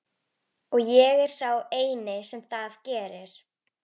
Og ég er sá eini sem það gerir.